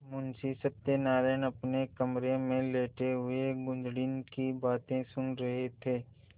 मुंशी सत्यनारायण अपने कमरे में लेटे हुए कुंजड़िन की बातें सुन रहे थे